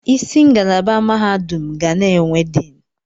Isi ngalaba mahadum ga na-enwe diin.